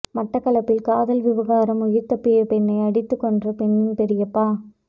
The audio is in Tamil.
மட்டக்களப்பில் காதல் விவகாரம் உயிர் தப்பிய பெண்ணை அடித்துக்கொன்ற பெண்னின் பெரியப்பா